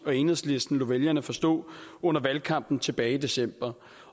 og enhedslisten lod vælgerne forstå under valgkampen tilbage i december